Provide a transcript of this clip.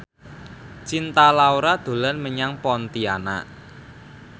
Cinta Laura dolan menyang Pontianak